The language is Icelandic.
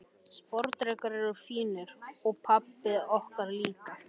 Sporðdrekar eru fínir, og pabbar okkar líka.